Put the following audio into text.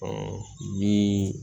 ni